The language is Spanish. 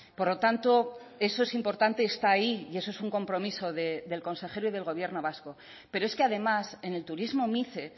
por lo tanto eso es importante está ahí y eso es un compromiso del consejero y del gobierno vasco pero es que además en el turismo mice